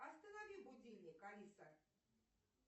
останови будильник алиса